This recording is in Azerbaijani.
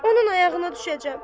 Onun ayağına düşəcəm.